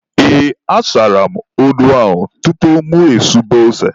Ee, asara m odo ahụ tupu mụ esube ose.